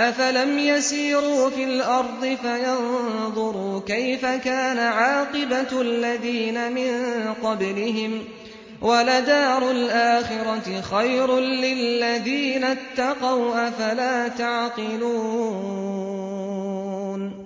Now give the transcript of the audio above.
أَفَلَمْ يَسِيرُوا فِي الْأَرْضِ فَيَنظُرُوا كَيْفَ كَانَ عَاقِبَةُ الَّذِينَ مِن قَبْلِهِمْ ۗ وَلَدَارُ الْآخِرَةِ خَيْرٌ لِّلَّذِينَ اتَّقَوْا ۗ أَفَلَا تَعْقِلُونَ